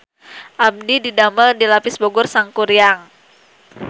Abdi didamel di Lapis Bogor Sangkuriang